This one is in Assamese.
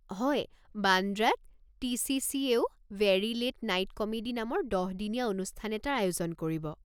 হয়, বান্দ্ৰাত টি.চি.চি.-য়েও 'ভেৰী লে'ট নাইট কমেডি' নামৰ দহ দিনীয়া অনুষ্ঠান এটাৰ আয়োজন কৰিব।